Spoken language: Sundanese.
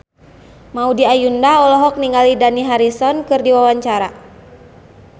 Maudy Ayunda olohok ningali Dani Harrison keur diwawancara